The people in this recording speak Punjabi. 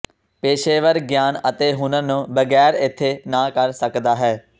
ਪੇਸ਼ੇਵਰ ਗਿਆਨ ਅਤੇ ਹੁਨਰ ਨੂੰ ਬਗੈਰ ਇੱਥੇ ਨਾ ਕਰ ਸਕਦਾ ਹੈ